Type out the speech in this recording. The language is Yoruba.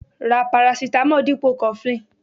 Ra parasitamo dipo cofflin.